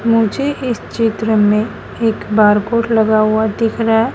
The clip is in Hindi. मुझे इस चित्र में एक बार--